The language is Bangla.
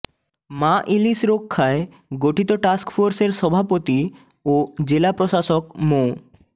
মা ইলিশ রক্ষায় গঠিত টাস্কফোর্সের সভাপতি ও জেলা প্রশাসক মো